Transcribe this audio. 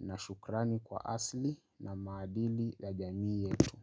na shukrani kwa asili na maadili la jamii yetu.